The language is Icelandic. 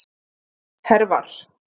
Hervar